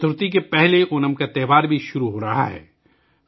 گنیش چترتھی سے پہلے اونم کا تہوار بھی شروع ہو رہا ہے